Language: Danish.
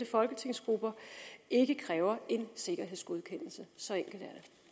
folketingsgrupper ikke kræver en sikkerhedsgodkendelse så enkelt